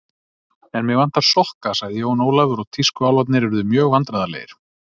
En mig vantar sokka sagði Jón Ólafur og tískuálfarnir urðu mjög vandræðalegir.